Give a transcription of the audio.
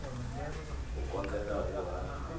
u konḓelela u hanya na